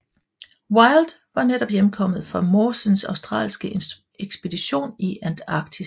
Wild var netop hjemkommet fra Mawsons australske ekspedition i Antarktis